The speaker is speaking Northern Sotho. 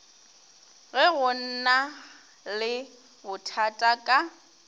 ge go na lebothata ka